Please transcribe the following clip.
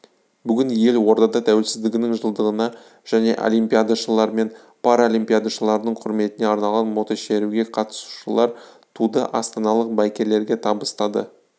бүгін елордада тәуелсіздігінің жылдығына және олимпиадашылар мен паралимпиадашылардың құрметіне арналған мотошеруге қатысушылар туды астаналық байкерлерге табыстады